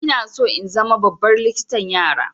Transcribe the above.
Ina so in zama babbar likitan yara.